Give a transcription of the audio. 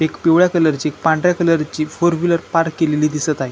एक पिवळ्या कलर ची पांढऱ्या कलर ची फोर व्हिलर पार्क केलेली दिसत आहे.